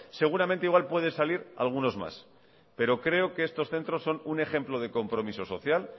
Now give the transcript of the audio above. seguramente igual puede salir algunos más pero creo que estos centros son un ejemplo de compromiso social